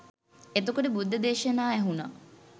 එතකොට බුද්ධ දේශනා ඇහුණා